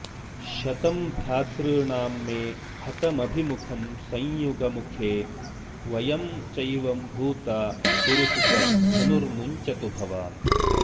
शतं भ्रातॄणां मे हतमभिमुखं संयुगमुखे वयं चैवम्भूता गुरुसुत धनुर्मुञ्चतु भवान्